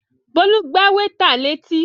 Bólú gbá wétà létí